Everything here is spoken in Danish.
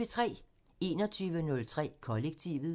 21:03: Kollektivet